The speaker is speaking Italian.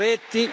Moretti.